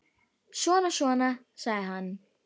Svona, svona, sagði hann.